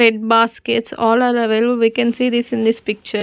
Red baskets all are available we can see this in this picture.